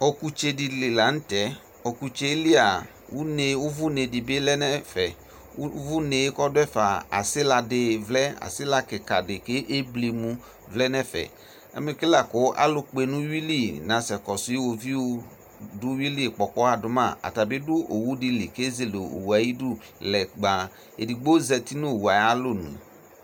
Ɔkʋtsedili lanʋ tɛ ɔkʋtselia ʋvʋne di dʋ ɛfɛ ʋvʋnea asila kikadi vlɛ kʋ ebli emʋ lɛnʋ ɛfɛ amɛke lakʋ alʋ kpenʋ ʋwili nasɛsɛ kɔsʋ iwoviʋ dʋ ʋwili nasɛkpɔ ɔkpɔxa dʋma atabi dʋ owʋ dili kezele owʋe ayʊvidʋ lɛ kpan edigbo zati nʋ owʋe ayu alɔnʋ